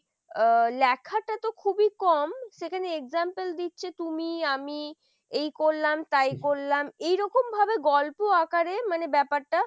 আহ লেখাটা তো খুবই কম, সেখানে example দিচ্ছে তুমি, আমি এই করলাম তাই করলাম এইরকম ভাবে গল্প আকারে মানে ব্যাপারটা